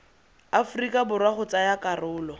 aforika borwa go tsaya karolo